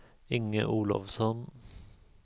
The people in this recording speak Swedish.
Inge Olovsson